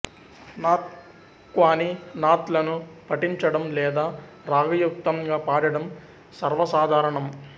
north క్వానీ నాత్ లను పఠించడం లేదా రాగయుక్తంగా పాడడం సర్వసాధారణం